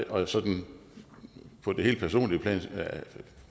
og sådan på det helt personlige plan